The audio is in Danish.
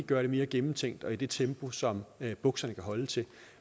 gøre det mere gennemtænkt og i det tempo som bukserne kan holde til